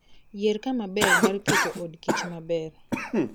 Yier kama ber mar keto od kich maber